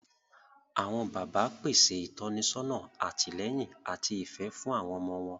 Awọn bàbà pèsè ìtọ́nisọ́nà, àtìlẹ́yìn, ati ifẹ fún àwọn ọmọ wọn